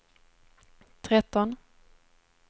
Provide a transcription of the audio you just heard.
tretton